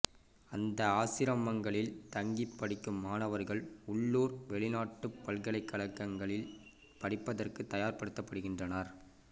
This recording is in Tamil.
அந்த ஆசிரமங்களில் தங்கிப் படிக்கும் மாணவர்கள் உள்ளூர் வெளிநாட்டுப் பல்கலைக்கழகங்களில் படிப்பதற்குத் தயார் படுத்தப்படுகின்றனர்